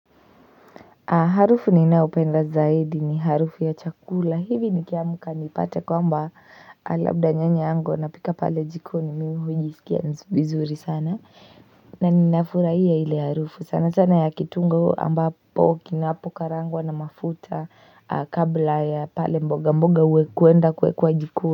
Harufu ninayopenda zaidi ni harufu ya chakula hivi nikiamka nipate kwamba labda nyanya yangu ana pika pale jikoni mimi hujisikia nzuri sana na ninafurahia ile harufu sana sana ya kitunguu ambapo kinapokarangwa na mafuta kabla ya pale mboga mboga huwa kwenda kuwekwa jikoni.